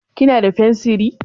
Kina da fensiri?